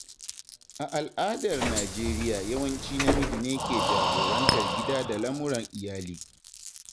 A al'adar Najeriya yawanci namiji ne ke jagorantar gida da lamuran iyali.